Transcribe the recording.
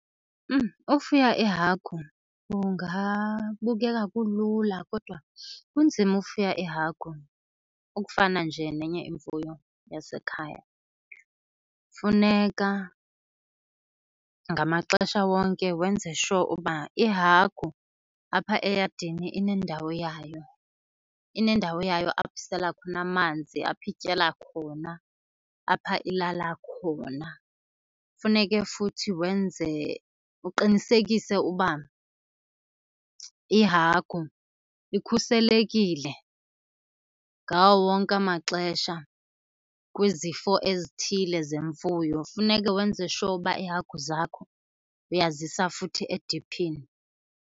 Ufuya iihagu kungabukeka kulula kodwa kunzima ufuya iihagu, ukufana nje nenye imfuyo yasekhaya. Funeka ngamaxesha wonke wenze sure ukuba ihagu apha eyadini inendawo yayo, inendawo yayo apho isela khona amanzi, apho ityela khona, apha ilala khona. Funeke futhi wenze, uqinisekise uba ihagu ikhuselekile ngawo wonke amaxesha kwizifo ezithile zemfuyo. Funeke wenze sure uba iihagu zakho uyazisa futhi ediphini.